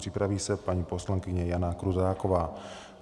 Připraví se paní poslankyně Jana Krutáková.